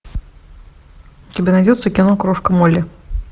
у тебя найдется кино крошка молли